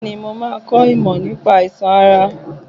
Bẹ́ẹ̀ni, mo máa kọ́ ìmọ̀ nípa àìsàn ara.